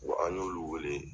Wa an y'olu wele.